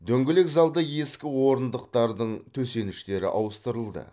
дөңгелек залда ескі орындықтардың төсеніштері ауыстырылды